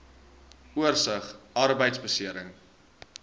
oorsig arbeidbeserings